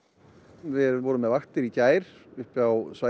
við vorum með vaktir í gær uppi á svæði